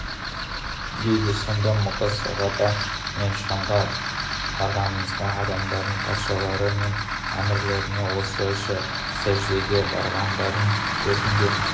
дейді сонда мұғаз сахаба мен шамға барғанымда адамдардың патшалары мен әмірлеріне осылайша сәждеге барғандарын көрдім де